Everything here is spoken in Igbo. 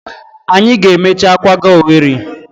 Anyi ga emechaa kwaga Owerri.